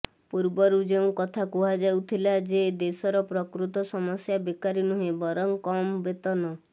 ପୂର୍ବରୁ ଯେଉଁ କଥା କୁହାଯାଉଥିଲା ଯେ ଦେଶର ପ୍ରକୃତ ସମସ୍ୟା ବେକାରୀ ନୁହେଁ ବରଂ କମ ବେତନ